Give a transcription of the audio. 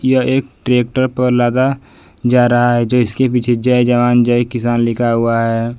यह एक ट्रैक्टर पर लादा जा रहा है जो इसके पीछे जय जवान जय किसान लिखा हुआ है।